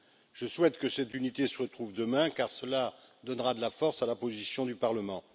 Je souhaite que cette unité se retrouve demain, car cela donnera de la force à la position du Parlement.